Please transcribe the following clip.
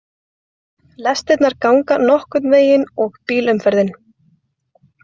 Lestirnar ganga nokkurn veginn og bílaumferðin